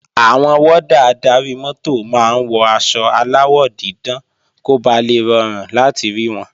Àwọn wọ́dà adarí-mọ́tò máa ń wọ aṣọ aláwọ̀ dídán kó ba lè rọrùn láti rí wọn